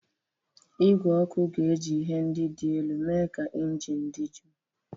Igwe ọkụ ga-eji ihe ndị dị elu mee ka injin dị jụụ.